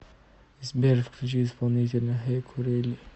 сбер включи исполнителя не курили